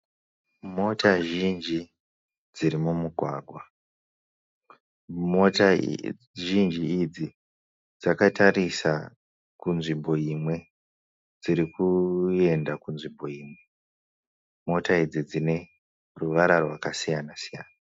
Mota zhinji dziri mumugwagwa. Mota zhinji idzi dzakatarisa kunzvimbo imwe. Dzirikuyenda kunzvimbo imwe. Mota idzi dzine ruvara rwaka siyana -siyana.